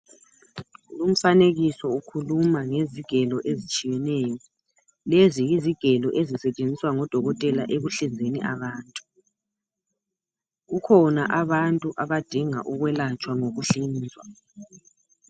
Lumfanekiso ukhuluma ngezigelo ezitshiyeneyo, lezi yizigelo ezisetsheziswa ngodokotela ekuhlizeni abantu kukhona abantu abadinga ukwelatshwa ngokuhlizwa.